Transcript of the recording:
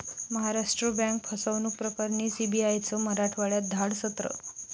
Maharashtra bank फसवणूक प्रकरणी सीबीआयचं मराठवाड्यात धाडसत्र